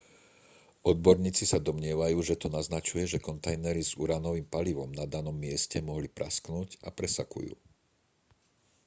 odborníci sa domnievajú že to naznačuje že kontajnery s uránovým palivom na danom mieste mohli prasknúť a presakujú